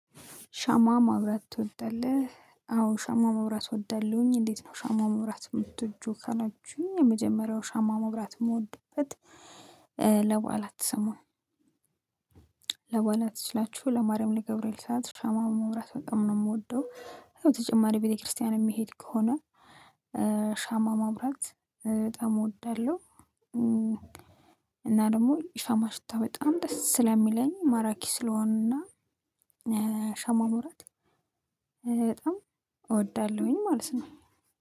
ሻማ ማብራት ትወዳለህ? አዎ ሻማ መብራት እወዳለሁኝ እንዴት ነው ሻማ መብራት የምትወጁ ካላችሁኝ የመጀመሪያው ሻማ መውራት መውደድበት ለባላት ሰሞን ለባአላት ስላችሁ ለማርያም ለገብርኤል ሰዓት ሻማውን ማብራት በጣም ነው የምወደው። ተጨማሪ ቤተክርስቲያን የምሄድ ከሆነ ሻማ ማበራት በጣም እወዳለሁ። እና ደግሞ የሻማ ሽታ በጣም ደስ ስለሚለኝ ማራኪ ስለሆንና ሻማ ማብራት በጣም እወዳለሁኝ ማለት ነው